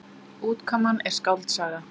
Útkoman er skáldsaga.